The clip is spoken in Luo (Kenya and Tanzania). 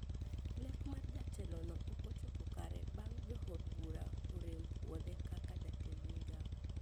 Lek mar jatelo no okochopo kare bang` jo od bura orem buodhe kaka jatend migao